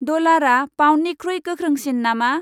डलारआ पाउन्डनिख्रुइ गोख्रोंसिन नामा?